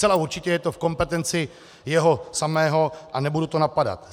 Zcela určitě je to v kompetenci jeho samého a nebudu to napadat.